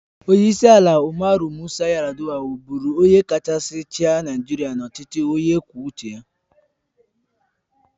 Onyeisi ala Umaru Musa Yar'Adua wụ bụrụ onye kachasị chịa Naịjirịa n'ọchịchị onye kwuo uche ya.